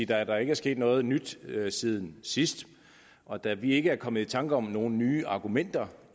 da der ikke er sket noget nyt siden sidst og da vi ikke er kommet i tanker om nogen nye argumenter